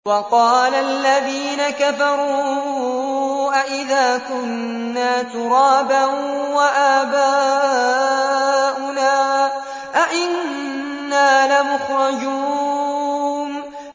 وَقَالَ الَّذِينَ كَفَرُوا أَإِذَا كُنَّا تُرَابًا وَآبَاؤُنَا أَئِنَّا لَمُخْرَجُونَ